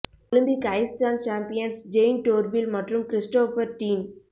Olympic ice dance champions Jayne Torvill மற்றும் Christopher dean